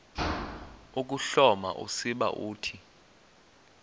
ukuhloma usiba uthi